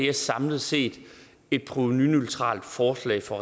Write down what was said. er samlet set et provenuneutralt forslag fra